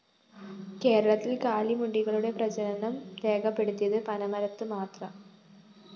കേരളത്തില്‍ കാലിമുണ്ടികളുടെ പ്രജനനം രേഖപെടുത്തിയത് പനമരത്ത് മാത്രം